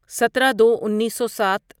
سترہ دو انیسو سات